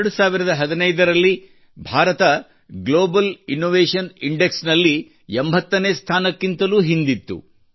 2015 ರಲ್ಲಿ ಭಾರತ ಜಾಗತಿಕ ನಾವೀನ್ಯತಾ ಸೂಚ್ಯಂಕದಲ್ಲಿ 80ನೇ ಸ್ಥಾನಕ್ಕಿಂತಲೂ ಹಿಂದಿತ್ತು